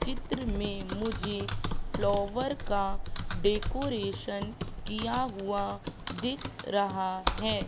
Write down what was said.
चित्र में मुझे फ्लावर का डेकोरेशन किया हुआ दिख रहा हैं।